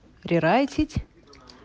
рерайтить